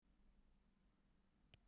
Beðið er niðurstöðu blóðrannsóknar